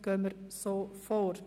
Somit gehen wir so vor.